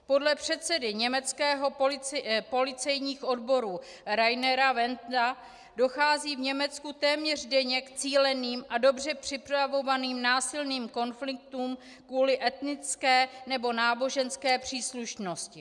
Podle předsedy německých policejních odborů Rainera Wendta dochází v Německu téměř denně k cíleným a dobře připravovaným násilným konfliktům kvůli etnické nebo náboženské příslušnosti.